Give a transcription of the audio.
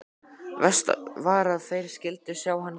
Verst var að þeir skyldu sjá hann gráta.